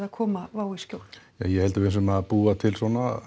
að koma Wow í skjól ja ég held að við séum að búa til